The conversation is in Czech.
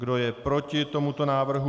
Kdo je proti tomu návrhu?